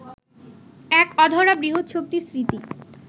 এক অধরা বৃহৎ শক্তির স্মৃতি